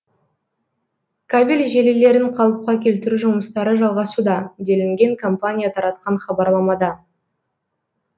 кабель желілерін қалыпқа келтіру жұмыстары жалғасуда делінген компания таратқан хабарламада